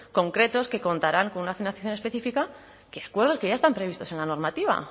concretos que contarán con una financiación específica que ya están previstos en la normativa